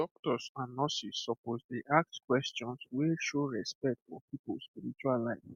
doctors and nurses suppose dey ask questions wey show respect for people spiritual life